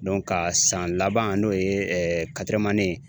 ka san laban n'o ye ye